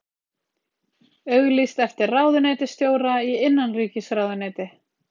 Auglýst eftir ráðuneytisstjóra í innanríkisráðuneyti